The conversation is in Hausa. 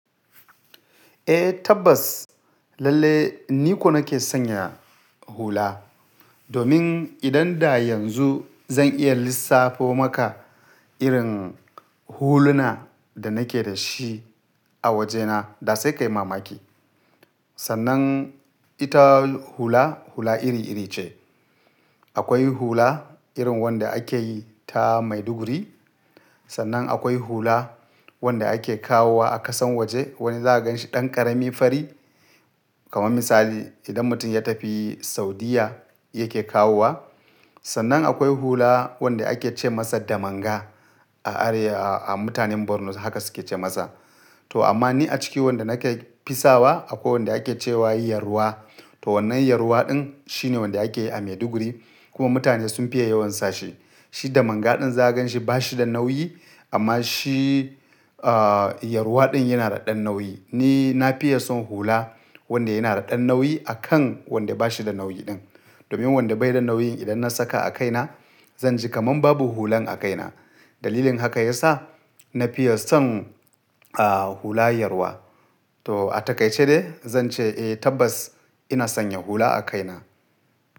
Eh tabbas, lalle ni ko nake sanya hula. Domin idan da yanzu zan iya lissafo maka irin huluna da nake da shi a wajena, da sai ka yi mamaki. Sannan ita hula, hula iri iri ce. Akwai hula irin wanda ake yi ta maiduguri, sannan akwai hula wanda ake kawowa a ƙasan waje wani za a gan shi ɗan ƙarami fari. Kaman misali, idan mutum ya tafi Saudiyya yake kawowa. Sannan akwai hula wanda ake ce masa damanga a are-- a mutanen Borno haka suke ce masa. To amma ni a ciki wanda nake fisawa akwai wanda ake ce wa yi yarwa. To wannan yarwa ɗin shine wanda ake yi a maiduguri kuma mutane sun fiye yawon sa shi. Shi damanga ɗin za a gan shi ba shi da nauyi amma shi ah yarwa ɗin yana da ɗan nauyi. Ni na fiye son hula wanda yana da ɗan nauyi akan wanda ba shi da nauyi ɗin. Domin wanda bai da nauyin idan na saka a kaina zan ji kaman babu hulan a kaina. Dalilin haka ya sa na fiye son ah hula yarwa. To a takaice dai zan ce eh tabbas ina sanya hula a kaina.